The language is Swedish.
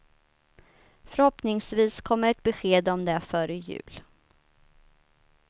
Förhoppningsvis kommer ett besked om det före jul.